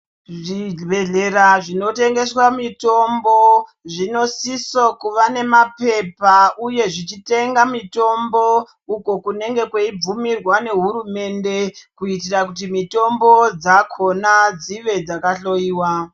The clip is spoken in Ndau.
Zvibhedhlera zvinotengeswa mitombo zvinosisa kuva nemapepa uye zvichitenga mitombo iyo kunebge kweibvumirwa nehurumende kuitira kuti mitombo dzakona dzive dzakahloiwa.